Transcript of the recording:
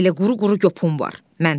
Elə quru-quru gopun var.